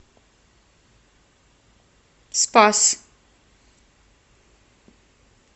спас